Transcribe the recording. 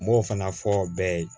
N b'o fana fɔ bɛɛ ye